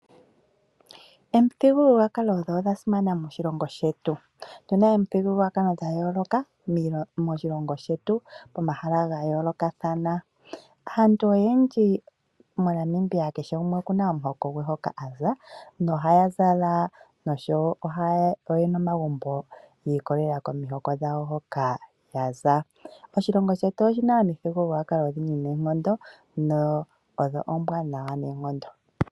Omithigululwakalo odhasimana moshilongo shetu otuna na omithigululwakalo dhayoloka moshilongo shetu pomahala gayolokathana. Aantu oyendji moNamibia oyena omihokolo hoka yaza, nohaaza shiikwatelela komihoko dhawo, nomagumbo ngawo ohatugwa shiikwatelela komihoko dhawo. Moshilongo shetu omuna omithigululwakalo odhindji noonkondo dho oombwanawa lela.